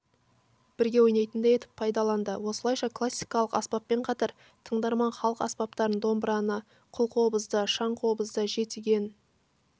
бірге ойнайтындай етіп пайдаланды осылайша классикалық аспаппен қатар тыңдарман халық аспаптарын домбыраны қылқобызды шаңқобызды жетіген